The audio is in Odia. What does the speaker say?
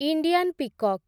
Indian peacock